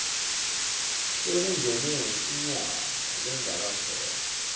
sekungenisa inyama lengakaphekwa